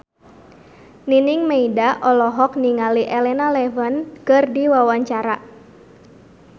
Nining Meida olohok ningali Elena Levon keur diwawancara